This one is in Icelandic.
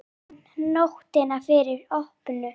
Ég man nóttina fyrir opnun.